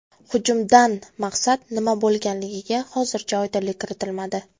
Hujumdan maqsad nima bo‘lganligiga hozircha oydinlik kiritilmadi.